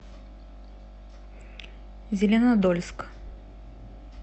зеленодольск